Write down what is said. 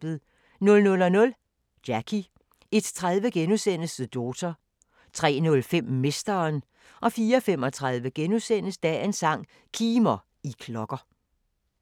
00:00: Jackie 01:30: The Daughter * 03:05: Mesteren 04:35: Dagens sang: Kimer, I klokker *